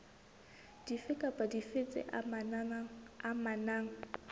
dife kapa dife tse amanang